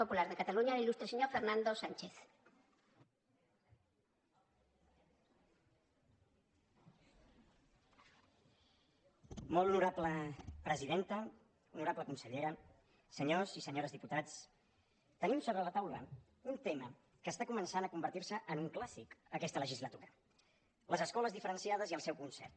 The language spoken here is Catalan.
molt honorable presidenta honorable consellera senyors i senyores diputats tenim sobre la taula un tema que està començant a convertir se en un clàssic aquesta legislatura les escoles diferenciades i el seu concert